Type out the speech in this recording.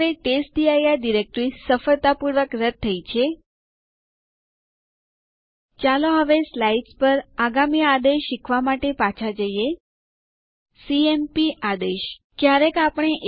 અહીં તે file system નું માપ બતાવે છે અને જગ્યા જે વપરાયેલ છે